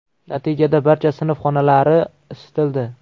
Natijada barcha sinf xonalari isitildi.